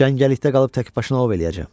Cəngəlikdə qalıb təkbaşına ov eləyəcəm.